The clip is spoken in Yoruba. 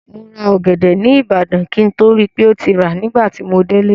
Mo ra ọ̀gẹ̀dẹ̀ ní ìbàdàn, kí n tó rí pé ó ti rà nígbà tí mo délé.